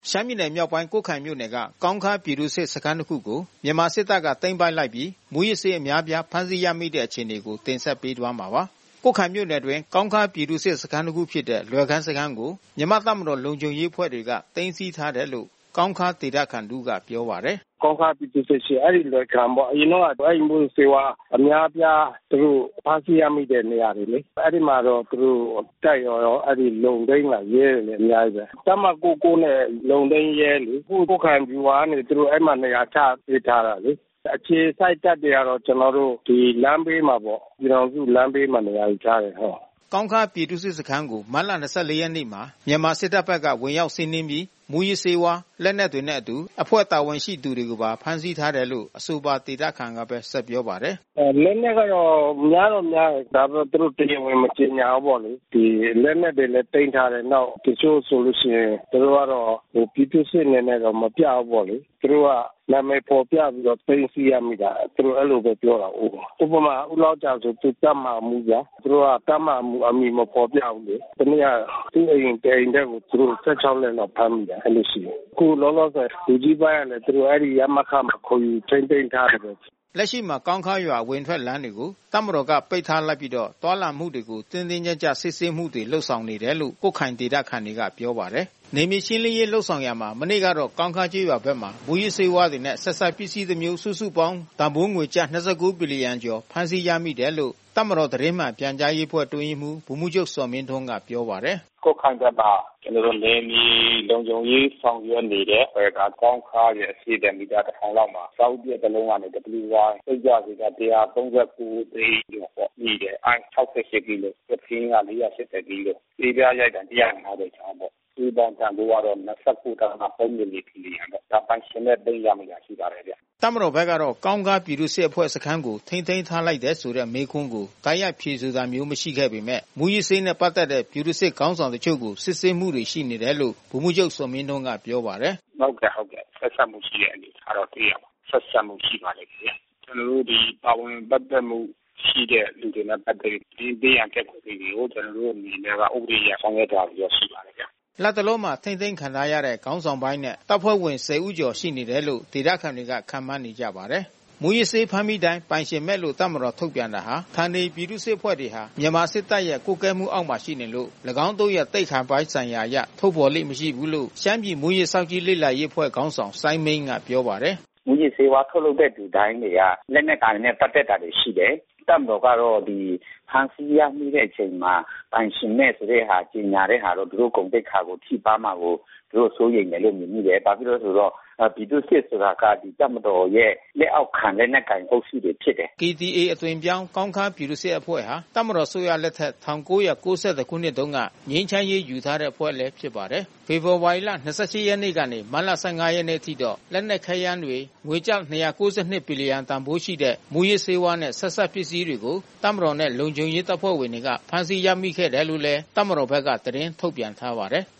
ရှမ်းပြည်နယ်မြောက်ပိုင်း ကွတ်ခိုင်မြို့နယ်က ကောင်းခါးပြည်သူ့စစ်စခန်းတခုကို မြန်မာစစ်တပ်ကသိမ်းပိုက်လိုက်ပြီး မူးယစ်ဆေးအများအပြားဖမ်းဆီးရမိတဲ့အခြေအနေကို နိုင်ကွန်းအိန်က သတင်းပေးပို့ထားပါတယ်။ ကွတ်ခိုင်မြို့နယ်အတွင်း ကောင်းခါးပြည်သူ့စစ်စခန်းတခုဖြစ်တဲ့ လွယ်ခန်းစခန်းကို မြန်မာ တပ်မတော်လုံခြုံရေးအဖွဲ့ တွေက သိမ်းဆီးထားတယ်လို့ ကောင်းခါးဒေသခံတဦးကပြောပါတယ်။ “ကောင်းခါးပြည်သူ့စစ်ရှိတယ် အဲဒီလွယ်ခမ်ပေါ့။ အရင်ကအဲဒီမူးယစ်ဆေးဝါးအများအပြားသူတို့ ဖမ်းဆီးရမိတဲ့နေရာ တွေလေ။ အဲဒီမှာတော့သူတို့ တပ်ရော လုံထိန်း ရဲတွေရောအများကြီးဘဲ။ တပ်မ(၉၉)နဲ့လုံထိန်းရဲလေ။ အခုကွတ်ခိုင် ဗျူဟာကနေသူတို့ နေရာချထားပေးတယ်လေ။ အခြေစိုက်တပ်တွေကတော့ ကျွန်တော်တို့လမ်းဘေးမှာပေါ့။ ပြည်ထောင်စု လမ်းဘေးမှာနေရာယူထားတယ်။” ကောင်းခါးပြည်သူ့စစ်စခန်းကို မတ်လ(၂၄)ရက်နေ့မှာ မြန်မာစစ်တပ် ကဝင်ရောက်စီးနင်းပြီး မူးယစ်ဆေး လက်နက်တွေနဲ့အတူ အဖွဲ့တာဝန်ရှိသူတွေကိုပါ ဖမ်းဆီးထားတယ်လို့ အဆိုပါဒေသခံက ဆက်ပြောပါတယ်။ “လက်နက်ကတော့များတော့များတယ်။ ဒါပေမဲ့သူတို့တရားဝင်မကြေညာဘူးပေါ့လေ။ ဒီလက်နက်တွေလဲသိမ်းထား တယ်။ နောက် တချို့ဆိုလို့ရှိရင်သူတို့ကတော့ ပြည်သူ့စစ်အနေနဲ့ တော့မပြဘူးပေါ့လေ။ သူတို့ကနာမည် ဖေါ်ပြ ပြီးတော့ သိမ်းဆီးရမိတာ။ သူတို့အဲဒီလိုဘဲပြောတာကိုး။ ဥပမာ ဦးလောက်ဂျာဆို သူကတပ်မဟာမှူးဗျာ။ သူတို့က တပ်မဟာမှူးနာမည်မဖေါ်ပြဘူးလေ။ တနေ့က သူ့အိမ်တအိမ်ထဲကို သူတို့(၁၆)လက်လောက်ဖမ်းမိတာ အဲဒီလိုရှိ တယ်။ ခုလောလောဆယ် လူကြီးပိုင်းကလဲ သူတို့ရမခမှာ ခေါ်ယူထိန်းသိမ်းထားတယ်ပေါ့လေ။” လက်ရှိမှာကောင်းခါးရွာ အဝင်အထွက်လမ်းတွေကို တပ်မတော်က ပိတ်ထားလိုက်ပြီးတော့ သွားလာမှုတွေကို တင်းတင်းကြပ်ကြပ်စစ်ဆေးမှုတွေလုပ်နေတယ်လို့ ကွတ်ခိုင်ဒေသခံတွေက ပြောပါတယ်။ နယ်မြေရှင်းလင်းရေးလုပ်ရာမှာ မနေ့ကတော့ ကောင်းခါးကျေးရွာဘက်မှာ မူးယစ်ဆေးဝါးတွေနဲ့ ဆက်စပ် ပစ္စည်းတစ်မျိုးစုစုပေါင်းခန့်မှန်း တန်ဖိုးငွေကျပ်၂၉ ဘီလီယံ ကျော်ဖမ်းဆီးရတယ်လို့ တပ်မတော်သတင်းမှန် ပြန်ကြားရေးအဖွဲ့အတွင်းရေးမှူးဗိုလ်မှူးချုပ် ဇော်မင်းထွန်းကပြော ပါတယ်။ “ကွတ်ခိုင်ဘက်မှာကျွန်တော်တို့နယ်မြေလုံခြုံရေးဆောင်ရွက်နေတဲ့ လွယ်ခမ်ကောင်းခါးရဲ့ အရှေ့ဖက်မိတာ(၁၀၀၀) လောက်မှာ အဆောက်ဦးပျက်တလုံးကနေ WYစိတ်ကြွ ဆေးပြား(၁၃၉)သိန်းကျော်ပေါ့မိတယ်။ ICE(၆၈)ကီလို ကဖင်း က(၄၈၀) ကီလို ဆေးပြား ရိုက်တံ(၁၅၀)ချောင်းပေါ့။ စုစုပေါင်းတန်ဖိုးကတော့ (၂၉.၃၄) ဘီလီယံပေါ့။ ပိုင်ရှင်မဲ့ သိမ်းရ မိတာရှိပါတယ်ဗျ။” တပ်မတော်ဘက်ကတော့ ကောင်းခါးပြည်သူ့စစ်အဖွဲ့စခန်းကိုထိန်းသိမ်းထားလိုက်တယ်ဆိုတဲ့ မေးခွန်းကို တိုက်ရိုက် ဖြေဆိုတာမျိုးမရှိခဲ့ပေမဲ့ မူးယစ်ဆေးနဲ့ပက်သက်တဲ့ ပြည်သူ့စစ်ခေါင်းဆောင် တချို့ကို စစ်ဆေးမှုရှိနေတယ်လို့ ဗိုလ်မှူးချုပ်ဇော်မင်းထွန်းကပြောပါတယ်။ “ဟုတ်ကဲ့ ဆက်စပ်မှုရှိတဲ့အနေအထားတော့တွေ့ရပါတယ်။ ဆက်စပ်မှုရှိပါလိမ့်မယ်။ ကျွန်တော်တို့ဒီပါဝင်ပက်သက်မှု ရှိတဲ့လူနဲ့ပက်သက်ပြီး သတင်းပေးရန်ပျက်ကွက်တဲ့သူတွေကို ကျွန်တော်တို့အနေနဲ့က ဥပဒေအရဆောင်ရွက် သွားဖို့တော့ရှိပါတယ်ဗျ။” လတ်တလောမှာ ထိန်းသိမ်းခံထားရတဲ့ခေါင်းဆောင်ပိုင်းနဲ့ တပ်ဖွဲ့ဝင် ဆယ်ဦးကျော်တယ်လို့ ဒေသခံတွေက ခန့်မှန်း နေကြပါတယ်။ မူးယစ်ဆေးဖမ်းမိတိုင်း ပိုင်ရှင်မဲ့လို့တပ်မတော်ကထုတ်ပြန်တာဟာ ဌာနေပြည်သူ့စစ်အဖွဲ့တွေဟာ မြန်မာစစ်တပ်ရဲ့ ကွပ်ကဲမှုအောက်မှာရှိနေလို့ ၎င်းတို့ရဲ့သိက္ခာပိုင်းဆိုင်ရာအရ ထုတ်ဖေါ်လေ့ မရှိဘူးလို့ ရှမ်းပြည်မူး ယစ်စောင့်ကြည့် လေ့လာရေးအဖွဲ့ခေါင်းဆောင်စိုင်းမိန်းကပြောပါတယ်။ “မုူယစ်ဆေးဝါးထုတ်လုပ်တဲ့သူတိုင်းတွေက လက်နက်ကိုင်နဲ့ပက်သက်တာတွေရှိတယ်။ တပ်မတော်ကတော့ ဖမ်းဆီး ရမိ တဲ့အချိန်မှာ ပိုင်ရှင်မဲ့ဆိုပြီးကြေညာတဲ့ဟာတော့ သူတို့ဂုဏ်သိက္ခာကိုထိပါးမှာကို သူတို့စိုးရိမ်တယ်လို့မြင်မိတယ်။ ဘာဖြစ်လဲဆိုတော့ ပြည်သူ့စစ်ဆိုတာကတပ်မတော်ရဲ့လက်အောက်ခံ လက်နက်ကိုင်အုပ်စုတွေဖြစ်တယ်။ KDA အသွင်ပြောင်း ကောင်းခါးပြည်သူ့စစ်အဖွဲ့ဟာ တပ်မတော်အစိုးရလက်ထက် ၁၉၉၁ တုန်းက ငြိမ်းချမ်းရေး ယူထားတဲ့အဖွဲ့ဖြစ်ပါတယ်။ ဖေဖော်ဝါရီလ ၂၈ ရက်ကနေ မတ်လ ၁၅ ရက်နေ့အထိ လက်နက်ခဲယမ်းများ၊ ငွေကျပ် ၂၉၂ ဘီလီယံ တန်ဖိုးရှိတဲ့ မူးယစ်ဆေးဝါးနဲ့ ဆက်စပ်ပစ္စည်းတွေကို တပ်မတော်နှင့် လုံခြုံရေး တပ်ဖွဲ့ ဝင်တွေက ဖမ်းဆီးရမိခဲ့တယ်လို့လဲ တပ်မတော်ဘက်က သတင်းထုတ်ပြန်ထားပါတယ်။